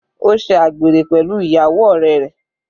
Ó ṣe àgbèrè pẹ̀lú ìyàwó ọ̀rẹ́ rẹ̀.